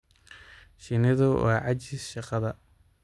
Shinnidu waa caajis shaqada.